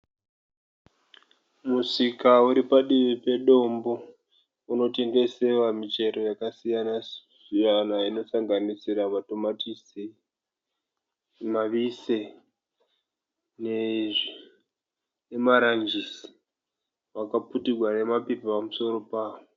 Musika uri padivi pedombo unotengesewa muchero yakasiyana siyana inosanganisira matomatisi, mavise nemaranjisi akaputirwa nemaPepa pamusoro pawo.